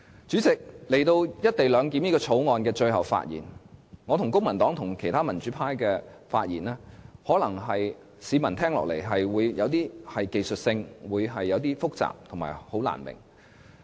主席，來到《條例草案》的最後發言時間，我和公民黨，以及其他民主派議員的發言，市民聽起來可能覺得有點流於技術性、複雜和難以明白。